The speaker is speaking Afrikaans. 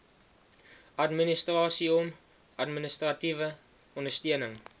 administrasieom administratiewe ondersteuning